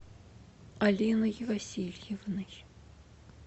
алиной васильевной